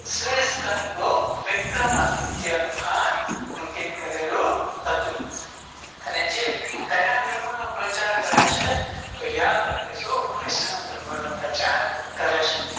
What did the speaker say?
શ્રી સિકંદ ગૃપ્ત વિક્રમાદિત્ય નું ખાનઅંકિત કરેલું છે અને જે ક્યાં ધર્મ નો પ્રચારકરે છે તો યાદરાખીશું વીસનું ધર્મનો પ્રચારકરે છે